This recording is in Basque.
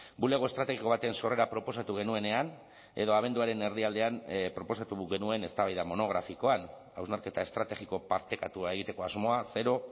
bulego estrategiko baten sorrera proposatu genuenean edo abenduaren erdialdean proposatu genuen eztabaida monografikoan hausnarketa estrategiko partekatua egiteko asmoa zero